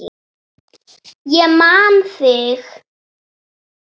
Ég man þig!